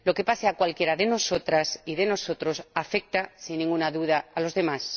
Lo que le pase a cualquiera de nosotras y de nosotros afecta, sin ninguna duda, a los demás.